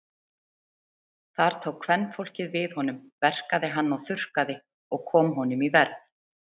Þar tók kvenfólkið við honum, verkaði hann og þurrkaði og kom honum í verð.